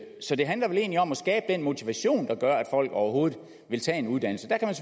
så det handler vel egentlig om at skabe den motivation der gør at folk overhovedet vil tage en uddannelse der kan